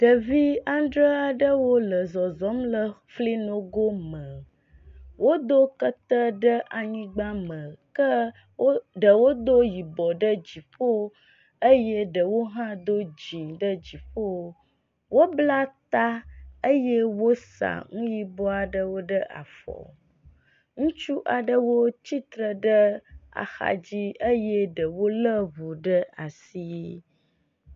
Ɖevi andre aɖewo le zɔzɔm le fli nogo me. wodo kete ɖe anyigba me ke wo ɖewo do yibɔ ɖe dziƒo eye ɖewo hã do dzi ɖe dziƒo. Wobla ta eye wosa nu yibɔ aɖewo ɖe afɔ. Ŋutsu aɖewo tsitre ɖe axadzi eye ɖewo le ŋu ɖe asi.